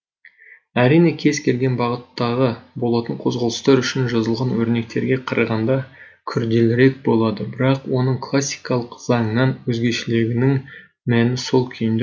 әрине кез келген бағыттағы болатын қозғалыстар үшін жазылған өрнектерге қарағанда күрделірек болады бірақ оның классикалық заңнан өзгешелігінің мәні сол күйінде